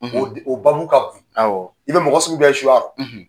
O babu ka bon, i bɛ mɔgɔ sugu bɛɛ ye suya la